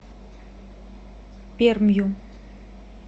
пермью